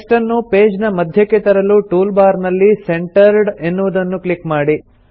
text ಅನ್ನು page ನ ಮಧ್ಯಕ್ಕೆ ತರಲು ಟೂಲ್ ಬಾರ್ ನಲ್ಲಿ ಸೆಂಟರ್ಡ್ ಎನ್ನುವುದನ್ನು ಕ್ಲಿಕ್ ಮಾಡಿ